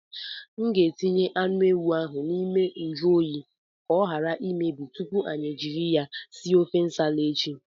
M ga-etinye anụ ewu ahụ n'ime njụ oyi ka ọ ghara imebi tupu anyị ejiri ya sie ofe Nsala echi.